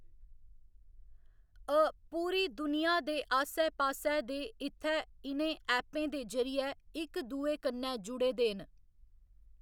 अ पूरी दुनिया दे आस्सै पास्सै दे इत्थै इ'नें ऐप्पें दे जरिेयै इक दूए कन्नै जुड़े दे न।